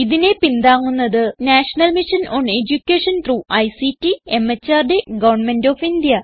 ഇതിനെ പിന്താങ്ങുന്നത് national mission on education through ICT MHRD government of India